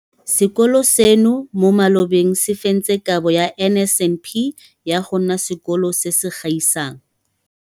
Sekolo seno mo malobeng se fentse Kabo ya NSNP ya go nna Sekolo se se Gaisang.